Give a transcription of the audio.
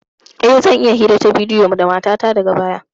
E, zan yi hira ta bidiyo da matata daga baya.